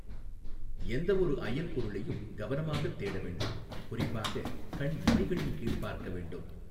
எந்தவொரு அயல்பொருளையும் கவனமாக தேட வேண்டும், குறிப்பாக கண் இமைகளின் கீழ் பார்க்க வேண்டும்.